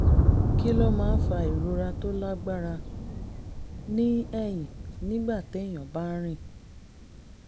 kí ló máa ń fa ìrora tó lágbára ní ẹ̀yìn nígbà téèyàn bá ń rìn?